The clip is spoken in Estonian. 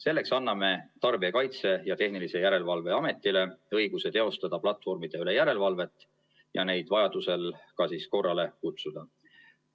Selleks anname Tarbijakaitse ja Tehnilise Järelevalve Ametile õiguse teostada platvormide üle järelevalvet ja neid vajadusel ka korrale kutsuda.